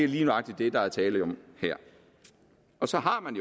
lige nøjagtig det der er tale om her så har man